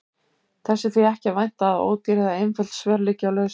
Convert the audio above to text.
Þess er því ekki að vænta að ódýr eða einföld svör liggi á lausu.